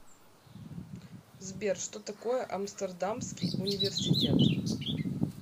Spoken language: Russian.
сбер что такое амстердамский университет